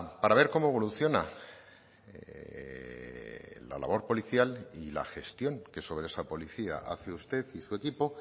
para ver cómo evoluciona la labor policial y la gestión que sobre esa policía hace usted y su equipo